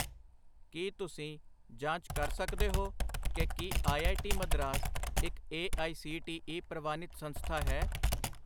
ਕੀ ਤੁਸੀਂ ਜਾਂਚ ਕਰ ਸਕਦੇ ਹੋ ਕਿ ਕੀ ਆਈ.ਆਈ.ਟੀ ਮਦਰਾਸ ਇੱਕ A I C T E ਪ੍ਰਵਾਨਿਤ ਸੰਸਥਾ ਹੈ?